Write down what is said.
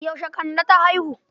Yaushe Kande ta haihu?